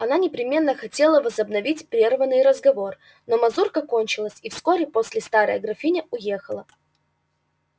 она непременно хотела возобновить прерванный разговор но мазурка кончилась и вскоре после старая графиня уехала